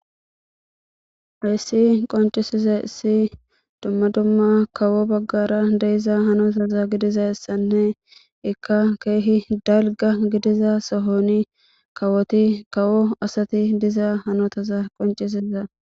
Hayssi qoncisiza issi dumma dumma kawo baggara deiza hanotaza gidiza issanne ikka keehi dalga gidiza sohoni kawoti kawo asati diza hanotaza qoncisiza